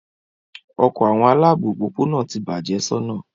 Ọkọ awọn alaabo opopona ti bạje sona